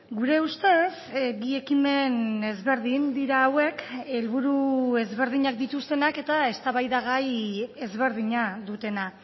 gure ustez bi ekimen ezberdin dira hauek helburu ezberdinak dituztenak eta eztabaidagai ezberdina dutena